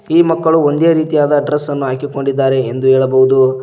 ಈ ಮಕ್ಕಳು ಒಂದೇ ರೀತಿಯಾದ ಡ್ರೆಸ್ ನ್ನು ಹಾಕಿಕೊಂಡಿದ್ದಾರೆ ಎಂದು ಹೇಳಬಹುದು.